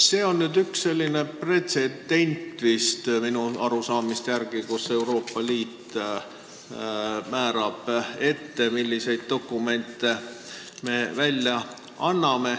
See on minu arusaamise järgi üks selline pretsedent, kus Euroopa Liit määrab ette, milliseid dokumente me välja anname.